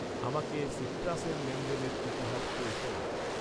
আমাকে সিট্রাসের লেনদেনের ইতিহাস পড়ে শোনান।